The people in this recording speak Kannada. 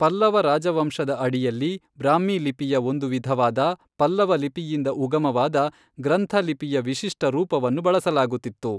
ಪಲ್ಲವ ರಾಜವಂಶದ ಅಡಿಯಲ್ಲಿ, ಬ್ರಾಹ್ಮೀ ಲಿಪಿಯ ಒಂದು ವಿಧವಾದ ಪಲ್ಲವ ಲಿಪಿಯಿಂದ ಉಗಮವಾದ ಗ್ರಂಥ ಲಿಪಿಯ ವಿಶಿಷ್ಟ ರೂಪವನ್ನು ಬಳಸಲಾಗುತ್ತಿತ್ತು.